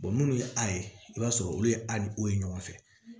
munnu ye a ye i b'a sɔrɔ olu ye ali o ye ɲɔgɔn fɛ